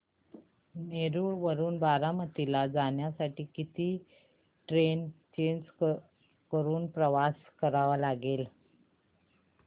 नेरळ वरून बारामती ला जाण्यासाठी किती ट्रेन्स चेंज करून प्रवास करावा लागेल